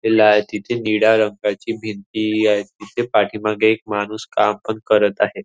लाल तिथे निळ्या रंगाची भिंती आहे. तिथे पाठीमागे एक माणूस काम पण करत आहे.